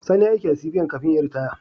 Sani yayi aiki a CBN kafin yayi ritaya